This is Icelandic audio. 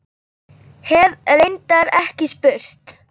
Hef reyndar ekki spurt.